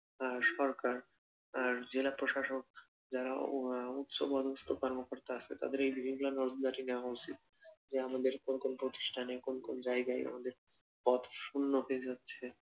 আর সরকার আর জেলাপ্রশাসক যারা উচ্চপদস্থ কর্মকর্তা আছে, তাদের এইগুলা নজরদারি নেওয়া উচিত, যে আমাদের কোন কোন প্রতিষ্ঠানে কোন কোন জায়গায় আমাদের পথ শূন্য হয়ে যাচ্ছে